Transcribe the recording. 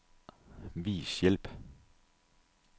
Vis hjælp.